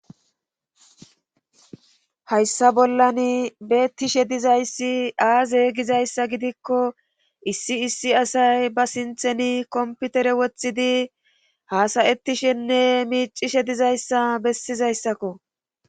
hayssa bollan beettishe dizayssi aaze gizayssa gidikko issi issi asay ba sintheni komputere wothidi haasayettishenne miicishe dizayssa bessizayssakko